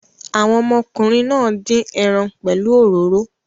Àwọn ọmọkùnrin náà dín ẹran pẹ̀lú òróró.